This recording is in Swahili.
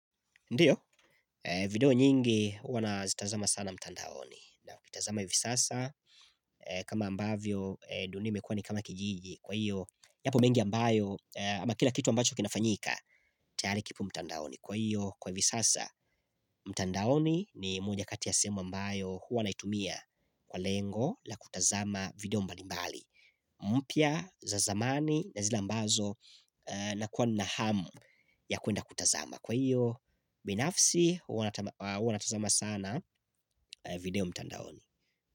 Ndiyo, video nyingi huwa nazitazama sana mtandaoni na kutazama hivi sasa kama ambavyo dunia imekua ni kama kijiji Kwa iyo, yapo mengi ambayo ama kila kitu ambacho kinafanyika tayari kipo mtandaoni Kwa iyo, kwa hivi sasa, mtandaoni ni moja kati ya sehemu ambayo huwa naitumia Kwa lengo la kutazama video mbalimbali mpya za zamani na zile ambazo na kuwa na hamu ya kuenda kutazama Kwa hiyo, binafsi, huwanatazama sana video mtandaoni.